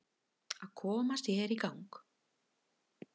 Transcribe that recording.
Að koma sér í gang